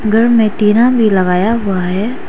घर में टीना भी लगाया हुआ है।